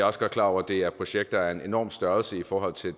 også godt klar over at det er projekter af en enorm størrelse i forhold til